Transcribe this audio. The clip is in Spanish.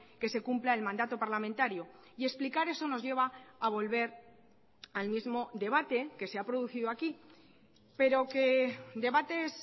que se cumpla el mandato parlamentario y explicar eso nos lleva a volver al mismo debate que se ha producido aquí pero que debates